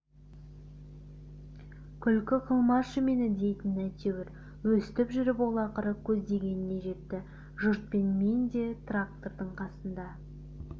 күлкі қылмашы мені дейтін әйтеуір өстіп жүріп ол ақыры көздегеніне жетті жұртпен мен де трактордың қасына